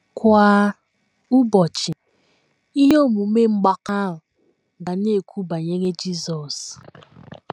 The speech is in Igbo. Kwa ụbọchị, ihe omume mgbakọ a ga na - ekwu banyere Jizọs.